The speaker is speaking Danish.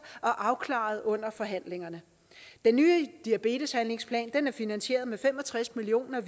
og afklaret under forhandlingerne den nye diabeteshandlingsplanen er finansieret med fem og tres million